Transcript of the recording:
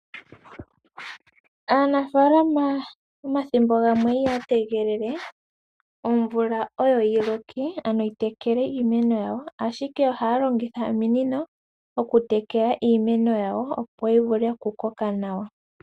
Aanafaalama omathimbo gamwe ihaya tegelele omvula oyo yi loke ano yi tekele iimeno yawo, ashike ohaya longitha ominino oku tekela iimeno yawo, opo yi vule oku koka nawa.